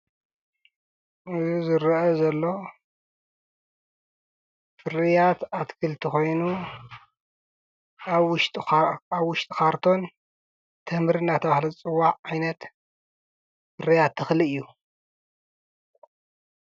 እዙይ ዝርአ ዘሎ ፍርያት ኣትክልቲ ኾይኑ ኣብ ውሽጥ ኻርቶን ተምሪ እንዳተባሃለ ዝፅዋዕ ዓይነት ፍርያት ተኽሊ እዩ።